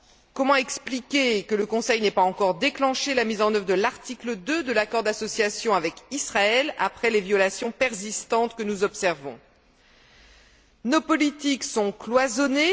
Comment expliquer que le Conseil n'ait pas encore déclenché la mise en œuvre de l'article 2 de l'accord d'association avec Israël après les violations persistantes que nous observons? Nos politiques sont cloisonnées.